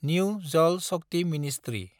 new जाल शक्ति ministry